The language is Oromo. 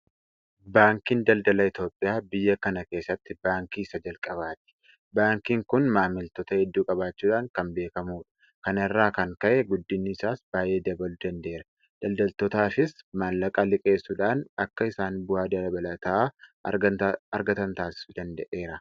Baankiin daldala Itoophiyaa biyya kana keessatti baankii isa jalqabaati. Baankiin kun maamiltoota hedduu qabaachuudhaan kan beekamudha. Kana irraa kan ka'e guddinni isaas baay'ee dabaluu danda'eera. Daldaltootaafis maallaqa liqeessuudhaan akka isaan bu'aa dabalataa argatan taasisuu danda'eera.